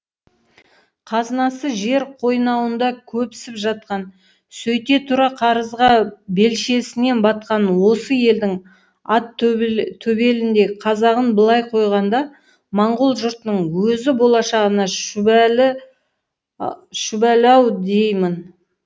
қазынасы жер қойнауында көпсіп жатқан сөйте тұра қарызға белшесінен батқан осы елдің ат төбеліндей қазағын былай қойғанда моңғол жұртының өзі болашағына шүбәлі ау деймін